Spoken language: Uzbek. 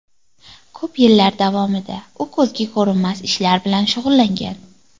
Ko‘p yillar davomida u ko‘zga ko‘rinmas ishlar bilan shug‘ullangan.